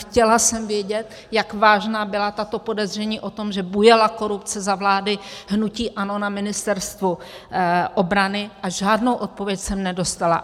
Chtěla jsem vědět, jak vážná byla tato podezření o tom, že bujela korupce za vlády hnutí ANO na Ministerstvu obrany, a žádnou odpověď jsem nedostala.